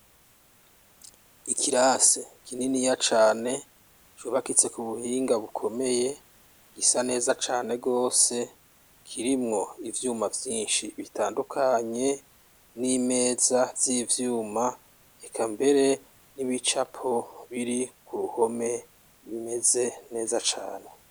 Ikirasi kininiya cane cubakitse ku buhinga bukomeye gisa neza cane gose kirimwo ivyuma vyinshi bitandukanye n'imeza z'ivyuma eka mbere n'ibicapo biri ku ruhome bimeze neza cane